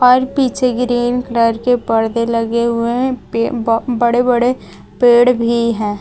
और पीछे green colour के पर्दे लगे हुए हैं पे ब बड़े बड़े पेड़ भी है।